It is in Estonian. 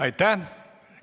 Aitäh!